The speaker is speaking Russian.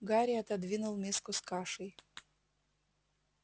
гарри отодвинул миску с кашей